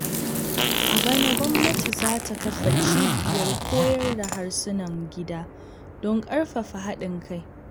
A bana, gwamnati za ta kafa cibiyar koyar da harsunan gida don karfafa haɗin kai.